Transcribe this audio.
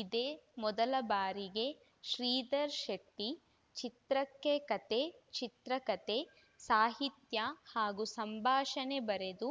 ಇದೇ ಮೊದಲ ಬಾರಿಗೆ ಶ್ರೀಧರ್‌ ಶೆಟ್ಟಿ ಚಿತ್ರಕ್ಕೆ ಕತೆ ಚಿತ್ರಕತೆ ಸಾಹಿತ್ಯ ಹಾಗೂ ಸಂಭಾಷಣೆ ಬರೆದು